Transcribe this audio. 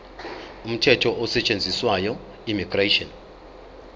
umthetho osetshenziswayo immigration